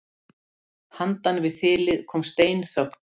Handan við þilið kom steinþögn.